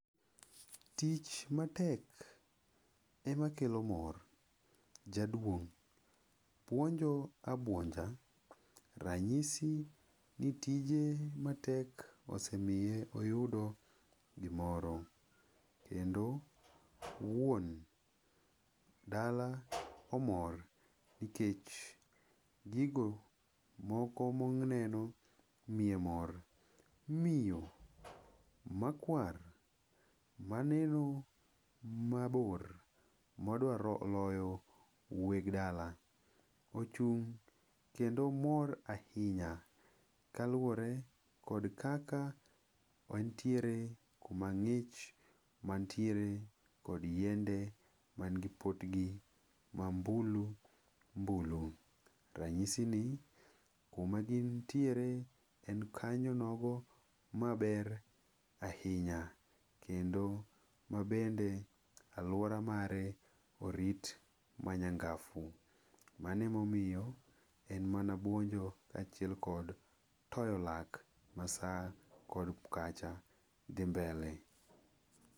Tich matek ema kelo mor. Jaduong' puonjo abuonja, ranyisi ni tije matek osemiye oyudo gimoro kendo wuon dala omor nikech gigo moko moneno miye mor. Miyo makwar maneno mabor modwaro loyo weg dala ochung' kendo mor ahinya kaluwore kod kaka entiere kuma ng'ich mantiere kod yiende man gi potgi mambulu mbulu. Ranyisi ni, kumagintiere en kanyo nogo maber ahinya kendo mabende aluora mare orit manyangafu. Mane momiyo, en mana puonjo kaachiel kod toyo lak masaa kod kacha dhi mbele.